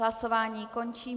Hlasování končím.